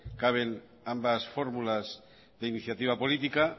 caben ambas formulas de iniciativa política